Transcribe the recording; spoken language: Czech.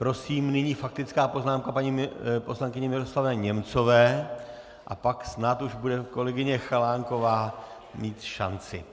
Prosím, nyní faktická poznámka paní poslankyně Miroslavy Němcové a pak snad už bude kolegyně Chalánková mít šanci.